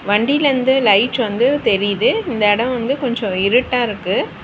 வண்டியிலிருந்து light வந்து தெரியிது. இந்த எடோ வந்து கொஞ்சோ இருட்டா இருக்கு.